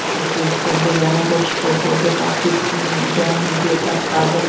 O‘zbekistonda yana bir shifokorga tahdid qilingan video tarqaldi.